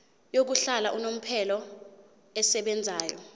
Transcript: yokuhlala unomphela esebenzayo